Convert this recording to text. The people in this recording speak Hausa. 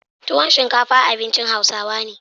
tuwon shinkafa abincin hausawa ne